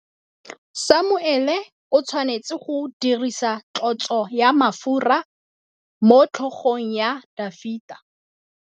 Samuele o tshwanetse go dirisa tlotsô ya mafura motlhôgong ya Dafita.